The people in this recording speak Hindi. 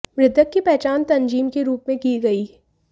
मृतक की पहचान तंजीम के रूप में की गई